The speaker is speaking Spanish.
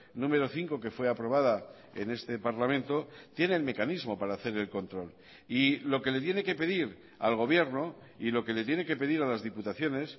número cinco que fue aprobada en este parlamento tiene el mecanismo para hacer el control y lo que le tiene que pedir al gobierno y lo que le tiene que pedir a las diputaciones